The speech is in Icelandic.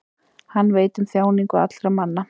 Hann veit um þjáningar allra manna.